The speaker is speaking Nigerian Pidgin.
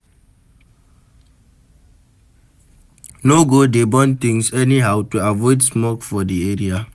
No go dey burn things anyhow to avoid smoke for di area